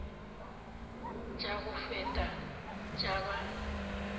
tša go feta tša ba